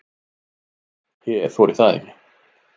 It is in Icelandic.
Ég þori það ekki.